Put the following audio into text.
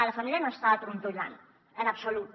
la família no està trontollant en absolut